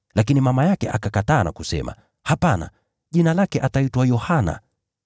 Lakini mama yake akakataa na kusema, “Hapana! Jina lake ataitwa Yohana.”